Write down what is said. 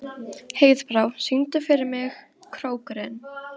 Heiðbrá, syngdu fyrir mig „Krókurinn“.